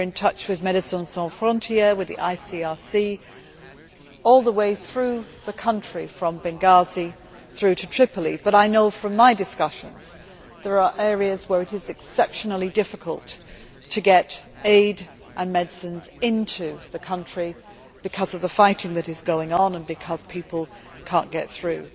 We are in touch with Médecins sans frontières and the ICRC all the way through the country from Benghazi to Tripoli. But I know from my discussions that there are areas where it is exceptionally difficult to get aid and medicines into the country because of the fighting that is going on and because people cannot get through.